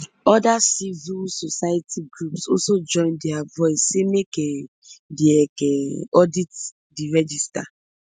oda civil society groups also join dia voice say make um di ec um audit di register